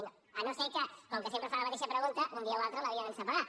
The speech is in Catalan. si no és que com que sempre fa la mateixa pregunta un dia o altre l’havia d’encepegar